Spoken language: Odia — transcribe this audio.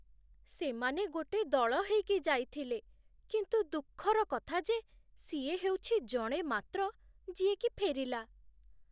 ସେମାନେ ଗୋଟେ ଦଳ ହେଇକି ଯାଇଥିଲେ, କିନ୍ତୁ ଦୁଃଖର କଥା ଯେ ସିଏ ହେଉଛି ଜଣେ ମାତ୍ର ଯିଏକି ଫେରିଲା ।